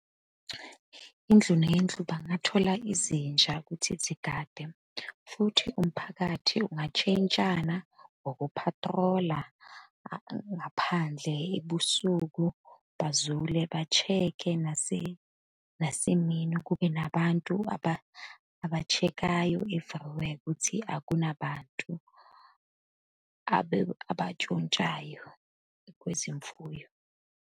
Indlu nendlu bangathola izinja ukuthi zigade, futhi umphakathi ungatshentshana ngoku phathrola ngaphandle ebusuku, bazule, ba-check-e nasemini kube nabantu aba-check-ayo if u-aware ukuthi akunabantu abatshontshayo kwezemfuyo.